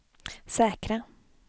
säkra